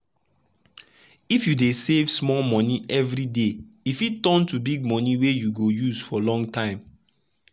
if you dey save small monie every day e fit turn to big monie wey you go use for long time.